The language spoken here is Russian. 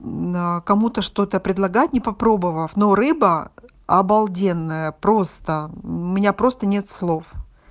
а кому-то что-то предлагать не попробовав но рыба обалденная просто у меня просто нет слов